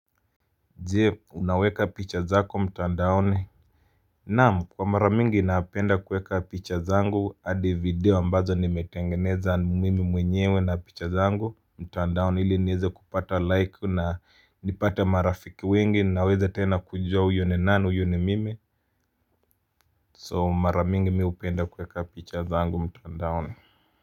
Je, unaweka picha zako mtandaoni? Naam kwa mara mingi napenda kuweka picha zangu hadi video ambazo nimetengeneza mimi mwenyewe na picha zangu mtandaoni ili nieze kupata like na nipate marafiki wengi na aweze tena kujua huyu ni nani huyu ni mimi so mara mingi mimi hupenda kuweka picha zangu mtandaoni.